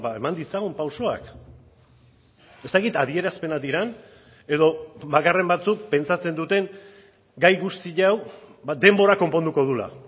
eman ditzagun pausoak ez dakit adierazpenak diren edo bakarren batzuk pentsatzen duten gai guzti hau denborak konponduko duela